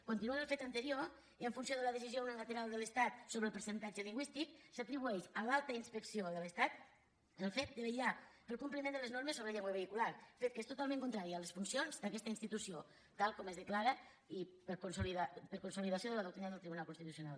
continuant el fet anterior en funció de la decisió unilateral de l’estat sobre el percentatge lingüístic s’atribueix a l’alta inspecció de l’estat el fet de vetllar pel compliment de les normes sobre llengua vehicular fet que és totalment contrari a les funcions d’aquesta institució tal com es declara i per consolidació de la doctrina del tribunal constitucional